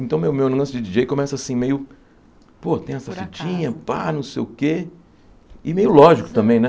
Então meu meu lance de Di dJey começa assim meio... Pô, tem essa fitinha Por acaso, Pá, não sei o quê... E meio lógico também, né?